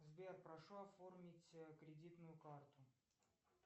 сбер прошу оформить кредитную карту